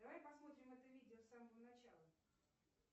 давай посмотрим это видео с самого начала